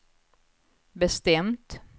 bestämt